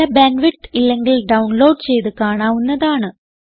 നല്ല bandwidth ഇല്ലെങ്കിൽ download ചെയ്ത് കാണാവുന്നതാണ്